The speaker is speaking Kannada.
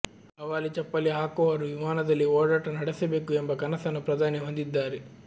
ಹವಾಲಿ ಚಪ್ಪಲಿ ಹಾಕುವವರೂ ವಿಮಾನದಲ್ಲಿ ಓಡಾಟ ನಡೆಸಬೇಕು ಎಂಬ ಕನಸನ್ನು ಪ್ರಧಾನಿ ಹೊಂದಿದ್ದಾರೆ